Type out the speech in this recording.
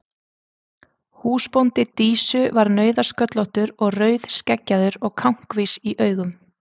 Húsbóndi Dísu var nauðasköllóttur og rauðskeggjaður og kankvís í augum.